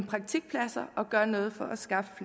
praktikpladser og gør noget for at skaffe